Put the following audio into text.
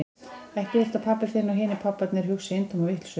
Ekki viltu að pabbi þinn og hinir pabbarnir hugsi eintóma vitleysu?